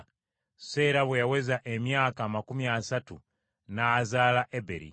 Seera bwe yaweza emyaka amakumi asatu n’azaala Eberi,